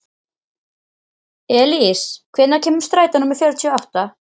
Elís, hvenær kemur strætó númer fjörutíu og átta?